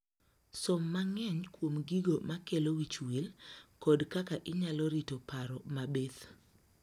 Som mang'eny kuom gigo ma kelo wich wil kod kaka inyalo rito paro ma bith.